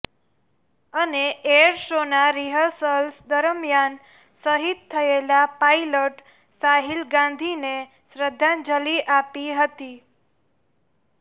અને એર શોના રિહર્સ્લ દરમિયાન શહીદ થયેલા પાઈલટ સાહિલ ગાંધીને શ્રદ્ધાંજલિ આપી હતી